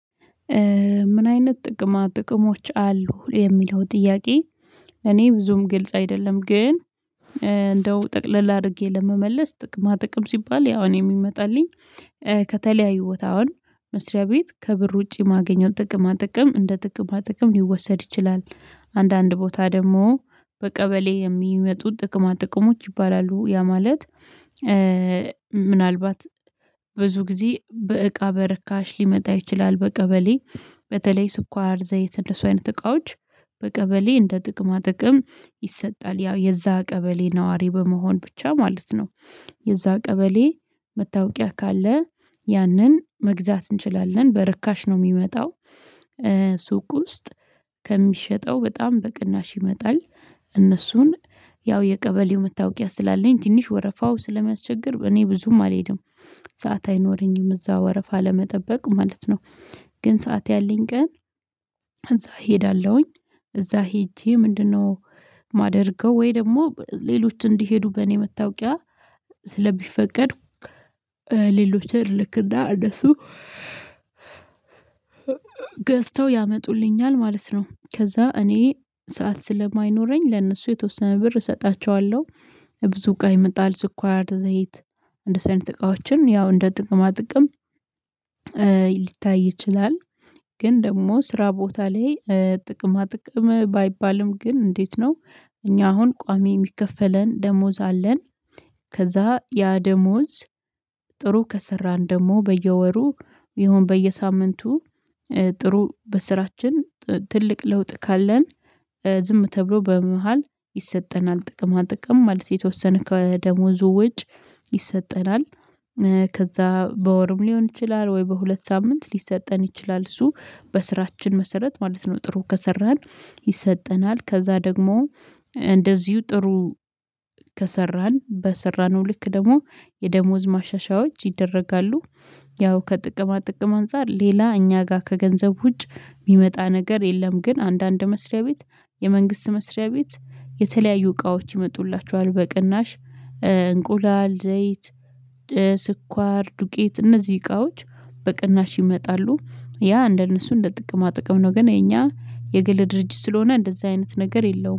ምን አይነት ጥቅማ ጥቅሞች አሉ የሚለው ጥያቄ እኔ ብዙም ግልጽ አይደለም ግን እንደው ጠቅለል አድርጌ ለመመለስ ጥቅማ ጥቅም ሲባል ያው እኔ የሚመጣልኝ ከተለያዩ ቦታ አሁን መስሪያ ቤት ከብር ውጪ ማገኘው ጥቅማ ጥቅም እንደ ጥቅማ ጥቅም ሊወሰድ ይችላል። አንዳንድ ቦታ ደግሞ በቀበሌ የሚመጡ ጥቅማ ጥቅሞች ይባላሉ። ያ ማለት ምናልባት ብዙ ጊዜ በእቃ በረካሽ ሊመጣ ይችላል። በቀበሌ በተለይ ስኳር ዘይት እነሱ አይነት እቃዎች በቀበሌ እንደ ጥቅማ ጥቅም ይሰጣል ያው የዛ ቀበሌ ነዋሪ በመሆን ብቻ ማለት ነው። የዛ ቀበሌ መታወቂያ ካለ ያንን መግዛት እንችላለን። በርካሽ ነው የሚመጣው። ሱቅ ውስጥ ከሚሸጠው በጣም በቅናሽ ይመጣል። እነሱን ያው የቀበሌው መታወቂያ ስላለኝ ትንሽ ወረፋው ስለሚያስቸግር እኔ ብዙም አልሄድም። ምናልባት ብዙ ጊዜ በእቃ በረካሽ ሊመጣ ይችላል። በቀበሌ በተለይ ስኳር፣ ዘይት እነሱ አይነት እቃዎች በቀበሌ እንደ ጥቅማ ጥቅም ይሰጣል ያው የዛ ቀበሌ ነዋሪ በመሆን ብቻ ማለት ነው። ግን ሰዓት ያለኝ ቀን እዛ እሄዳለሁኝ። እዛ ሄጄ ምንድነው ማደርገው ወይ ደግሞ ሌሎች እንዲሄዱ በእኔ መታወቂያ ስለሚፈቀድ ሌሎችን እልክና እነሱ ገዝተው ያመጡልኛል ማለት ነው። ከዛ እኔ ሰዓት ስለማይኖረኝ ለእነሱ የተወሰነ ብር እሰጣቸዋለሁ። ብዙ እቃ ይመጣል። ስኳር፣ ዘይት እንደሱ አይነት እቃዎችን ያው እንደ ጥቅማ ጥቅም ሊታይ ይችላል ግን ደግሞ ስራ ቦታ ላይ ጥቅማ ጥቅም ባይባልም ግን እንዴት ነው እኛ አሁን ቋሚ የሚከፈለን ደሞዝ አለን። ከዛ ያ ደሞዝ ጥሩ ከሰራን ደግሞ በየወሩ ይሁን በየሳምንቱ ጥሩ በስራችን ትልቅ ለውጥ ካለን ዝም ተብሎ በመሃል ይሰጠናል ጥቅማ ጥቅም ማለት የተወሰነ ከደሞዙ ውጭ ይሰጠናል። ከዛ በወርም ሊሆን ይችላል ወይ በሁለት ሳምንት ሊሰጠን ይችላል እሱ በስራችን መሰረት ማለት ነው። ጥሩ ከሰራን ይሰጠናል ከዛ ደግሞ እንደዚሁ ጥሩ ከሰራን በሰራነው ልክ ደግሞ የደሞዝ ማሻሻያዎች ይደረጋሉ። ያው ከጥቅማ ጥቅም አንፃር ሌላ እኛ ጋር ከገንዘብ ውጭ የሚመጣ ነገር የለም ግን አንዳንድ መስሪያ ቤት የመንግስት መስሪያ ቤት የተለያዩ እቃዎች ይመጡላቸዋል በቅናሽ እንቁላል፣ ዘይት ስኳር፣ ዱቄት እነዚህ እቃዎች በቅናሽ ይመጣሉ። ያ እንደነሱ እንደ ጥቅማ ጥቅም ነው ግን የኛ የግል ድርጅት ስለሆነ እንደዚህ አይነት ነገር የለውም።